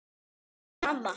Katrín amma.